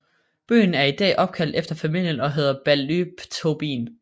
Byen er i dag opkaldt efter familien og hedder Ballytobin